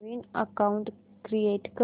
नवीन account create कर